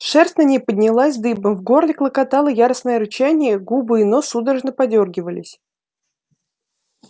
шерсть на ней поднялась дыбом в горле клокотало яростное рычание губы и нос судорожно подёргивались